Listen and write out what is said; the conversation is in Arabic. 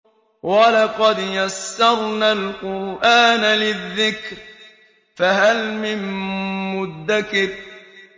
وَلَقَدْ يَسَّرْنَا الْقُرْآنَ لِلذِّكْرِ فَهَلْ مِن مُّدَّكِرٍ